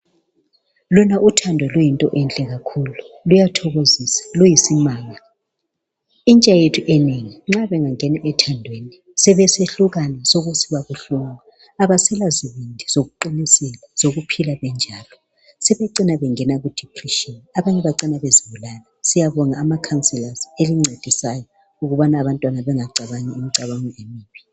Lona uthando luyinto enhle kakhulu luyathokozisa, luyisimanga Intsha yethu enengi nxa bengangena ethandweni sebesehlukana sokusiba buhlungu Abasela zibindi zokuqinisela zokuphila benjalo Sebecina bengena ku depression abanye bacina bezibulala. Siyabonga ama counsellors elincedisayo ukubana abantwana bangacabangi imicabango emibi.